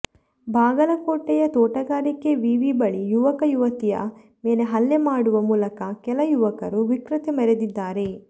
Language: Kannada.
ಬಾಗಲಕೋಟೆಯ ತೋಟಗಾರಿಕೆ ವಿವಿ ಬಳಿ ಯುವಕ ಯುವತಿಯ ಮೇಲೆ ಹಲ್ಲೆ ಮಾಡುವ ಮೂಲಕ ಕೆಲ ಯುವಕರು ವಿಕೃತಿ ಮೆರೆದಿದ್ದಾರೆ